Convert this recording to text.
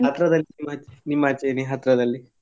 ಹತ್ರದಲ್ಲಿ ನಿಮ್ಮಾಚೆ ನಿಮ್ಮಾಚೆ ಇದೆಯಾ ಹತ್ರದಲ್ಲಿ.